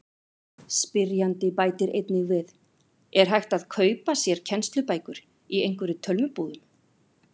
Spyrjandi bætir einnig við: Er hægt að kaupa sér kennslubækur í einhverjum tölvubúðum?